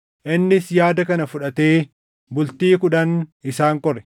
Innis yaada kana fudhatee bultii kudhan isaan qore.